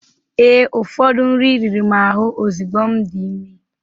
Ee, ụfọdụ nri riri m ahụ ozugbo m dị ime